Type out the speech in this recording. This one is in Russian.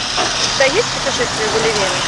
у тебя есть путешествие гулливера